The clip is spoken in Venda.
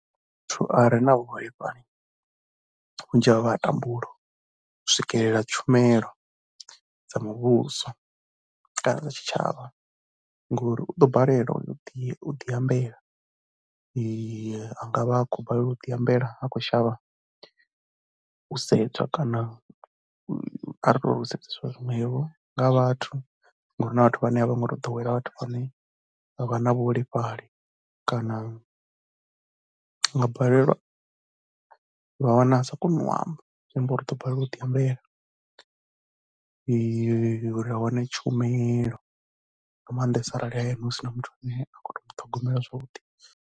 Muthu a re na vhuholefhali, vhunzhi havho vha ya tambula u swikelela tshumelo dza muvhuso kana tshitshavha ngori u ḓo balelwa u yo diambela. A nga vha a khou balelwa u ḓiambela a khou shavha u sedzwa kana kha ri tou ri u sedzeswa zwiṅwevho nga vhathu ngori hu na vhathu vhane a vho ngo to ḓowela vhathu vhane vha vha na vhuholefhali kana a nga balelwa vha nga wana a sa koni u amba. Zwi amba uri u ḓo balelwa u ḓiambela uri a wane tshumelo nga maanḓesa arali hayani hu si na muthu ane a khou to mu ṱhogomela zwavhuḓi.